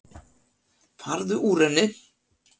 Farðu úr henni.